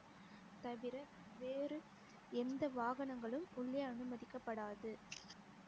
தவிர வேறு எந்த வாகனங்களும் உள்ளே அனுமதிக்கப்படாது